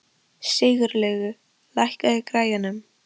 Sigurlaugur, lækkaðu í græjunum.